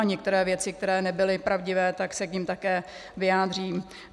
A některé věci, které nebyly pravdivé, tak se k nim také vyjádřím.